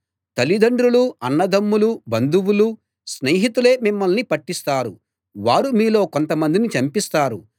తల్లిదండ్రులూ అన్నదమ్ములూ బంధువులూ స్నేహితులే మిమ్మల్ని పట్టిస్తారు వారు మీలో కొంతమందిని చంపిస్తారు